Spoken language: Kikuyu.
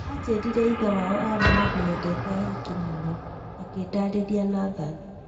Ajĩrire ithe wao arĩ mundu wendete ahiki muno," akĩndarĩria Nathan.